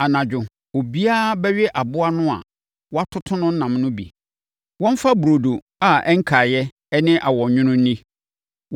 Anadwo, obiara bɛwe aboa no a wɔatoto no nam no bi. Wɔmfa burodo a ɛnkaeɛ ne awɔnwono nni.